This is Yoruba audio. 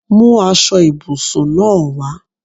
Mú aṣọ ibùsùn náà wá!